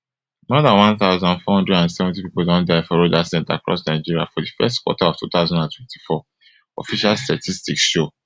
more dan one thousand, four hundred and seventy pipo don die for road accidents across nigeria for di first quarter of two thousand and twenty-four official statistics show